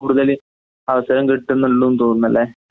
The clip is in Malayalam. കൂടുതല് അവസരംകിട്ടുന്നൊള്ളൂന്ന്തോന്നുന്നല്ലെ